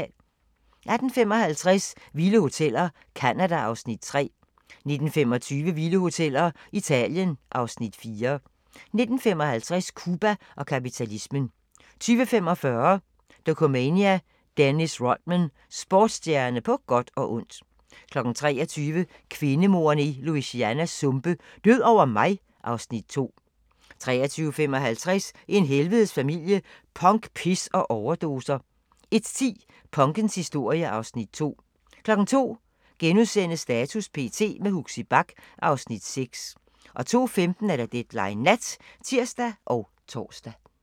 18:55: Vilde hoteller – Canada (Afs. 3) 19:25: Vilde Hoteller – Italien (Afs. 4) 19:55: Cuba og kapitalismen 20:45: Dokumania: Dennis Rodman – Sportsstjerne på godt og ondt 23:00: Kvindemordene i Louisianas sumpe: Død over mig (Afs. 2) 23:55: En helvedes familie – Punk, pis og overdoser 01:10: Punkens historie (Afs. 2) 02:00: Status p.t. – med Huxi Bach (Afs. 6)* 02:15: Deadline Nat (tir og tor)